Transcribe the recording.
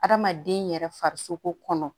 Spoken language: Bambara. Hadamaden yɛrɛ farisoko kɔnɔ